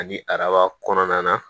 Ani araba kɔnɔna na